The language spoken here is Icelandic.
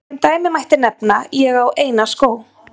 Sem dæmi mætti nefna: Ég á eina skó.